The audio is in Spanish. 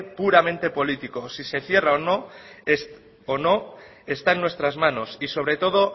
puramente político si se cierra o no está en nuestras manos y sobre todo